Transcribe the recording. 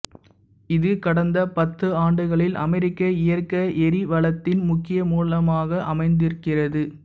இது கடந்த பத்தாண்டுகளில் அமெரிக்க இயற்கை எரிவளி வளத்தின் முக்கிய மூலமாக அமைந்திருக்கிறது